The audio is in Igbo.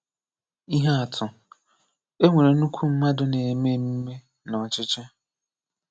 Ihè àtụ̀: È nwerè nnukwù mmadụ̀ na-emè emumè n’ọ̀chịchị̀